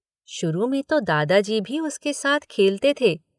शुरू में तो दादाजी भी उसके साथ खेलते थे।